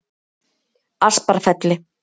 Asparfelli